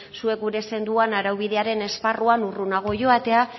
zuek gure zenuten araubidearen esparruan urrunago joatea